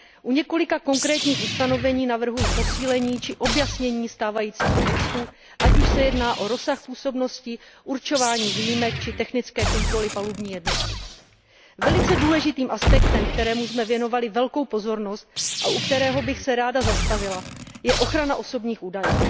u několika konkrétních ustanovení navrhuji posílení či objasnění stávajícího textu, ať už se jedná o rozsah působnosti, určování výjimek či technické kontroly palubní jednotky. Velice důležitým aspektem, kterému jsme věnovali velkou pozornost a u kterého bych se ráda zastavila, je ochrana osobních údajů.